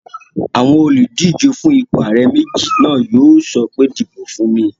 Àwọn olùdíjé fún ipò ààrẹ méjì náà yóò sọ pé "di ìbò fún mi!"